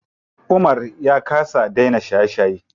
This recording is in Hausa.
Umar ya kasa dena shaye shaye.